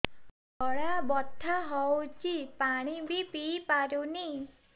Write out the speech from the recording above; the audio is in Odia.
ଗଳା ବଥା ହଉଚି ପାଣି ବି ପିଇ ପାରୁନି